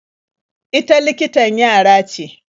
Ita likitan yara ce.